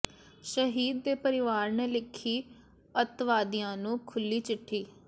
ਸ਼ਹੀਦ ਦੇ ਪਰਿਵਾਰ ਨੇ ਲਿੱਖੀ ਅੱਤਵਾਦੀਆਂ ਨੂੰ ਖੁੱਲ੍ਹੀ ਚਿੱਠੀ